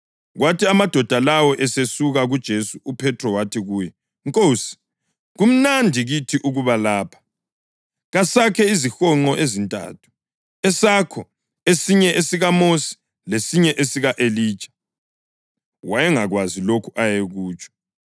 Kwathi amadoda lawo esesuka kuJesu uPhethro wathi kuye, “Nkosi, kumnandi kithi ukuba lapha. Kasakhe izihonqo ezintathu, esakho, esinye esikaMosi lesinye esika-Elija.” (Wayengakwazi lokho ayekutsho.)